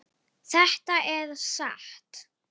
Þetta er satt!